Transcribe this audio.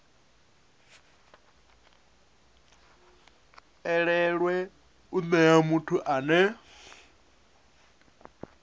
elelwe u nea muthu ane